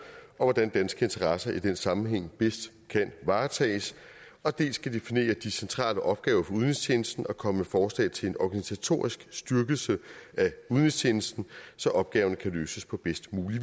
og hvordan danske interesser i den sammenhæng bedst kan varetages og dels skal den definere de centrale opgaver for udenrigstjenesten og komme med forslag til en organisatorisk styrkelse af udenrigstjenesten så opgaverne kan løses på bedst mulig